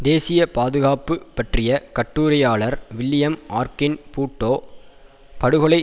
தேசிய பாதுகாப்பு பற்றிய கட்டுரையாளர் வில்லியம் ஆர்கின் பூட்டோ படுகொலை